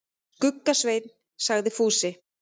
Skugga-Svein, sagði Fúsi.